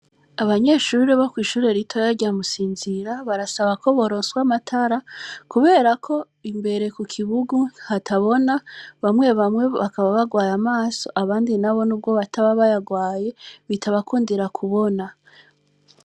Abanyeshuri bo kw'ishure rito yaryamusinzira barasaba ko boronswa amatara, kubera ko imbere ku kibugu hatabona bamwe bamwe bakaba bagwaye amaso abandi na bo n'ubwo bataba bayagwaye bitabakundira kubona.